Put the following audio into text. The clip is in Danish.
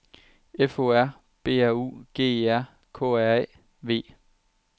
F O R B R U G E R K R A V